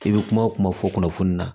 I bɛ kuma o kuma fɔ kunnafoni na